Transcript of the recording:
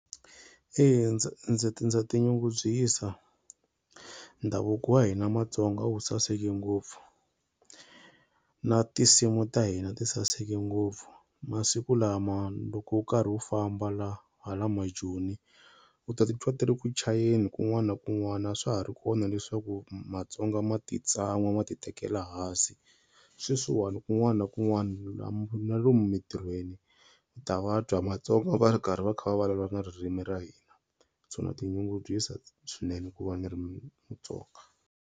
Eya ndza ndza ti ndza tinyungubyisa. Ndhavuko wa hina Matsonga wu saseke ngopfu na tinsimu ta hina ti saseke ngopfu. Masiku lama loko u karhi u famba la hala majoni u ta titwa ti ri muchayeni kun'wana na kun'wana a swa ha ri kona leswaku Matsonga ma ti tsan'wa ma titekela hansi. Sweswiwani kun'wana na kun'wana na lomu mitirhweni ta va twa Matsonga va ri karhi va kha va vulavula na ririmi ra hina so na tinyungubyisa swinene ku va ni ri Mutsonga.